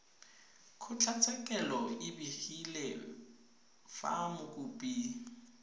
kgotlatshekelo e begile fa mokopi